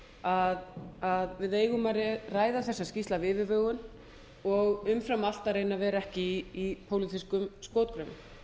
komið að við eigum að ræða þessa skýrslu af yfirvegun og umfram allt að vera ekki í pólitískum skotgröfum